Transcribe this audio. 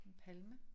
En palme